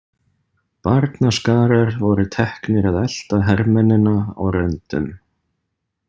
Barnaskarar voru teknir að elta hermennina á röndum.